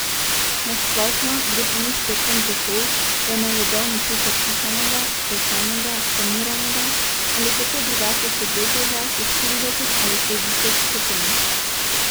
Na splošno gre pri njih predvsem za to, da ne jedo ničesar kuhanega, pečenega, paniranega ali kako drugače segretega čez štirideset ali šestdeset stopinj.